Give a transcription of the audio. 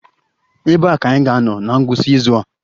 Ebee ka anyị ga-anọ na ngwụsị izu a?